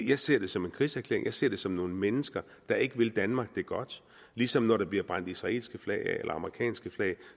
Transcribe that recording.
jeg ser det som en krigserklæring jeg ser det som nogle mennesker der ikke vil danmark det godt ligesom når der bliver brændt israelske flag af eller amerikanske flag